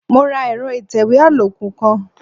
Mo ra ẹ̀rọ ìtẹ̀wé àlòkù kan.